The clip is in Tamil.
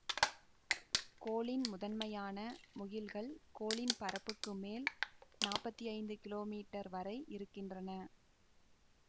கோளின் முதன்மையான முகில்கள் கோளின் பரப்புக்கு மேல் நாப்பத்தி ஐந்து கிலோமீட்டர் வரை இருக்கின்றன